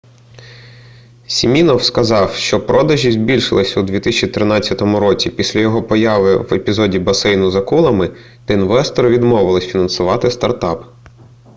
сімінофф сказав що продажі збільшилися у 2013 році після його появи в епізоді басейну з акулами де інвестори відмовилися фінансувати стартап